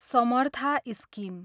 Samartha scheme